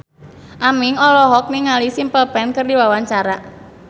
Aming olohok ningali Simple Plan keur diwawancara